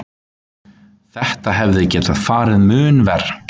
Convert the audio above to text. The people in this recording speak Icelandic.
Þetta hefði getað farið mun verr.